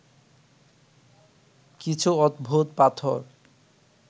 কিছু অদ্ভুত পাথর